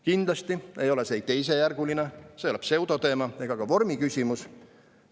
Kindlasti ei ole see ei teisejärguline, see ei ole pseudoteema ega ka vormiküsimus.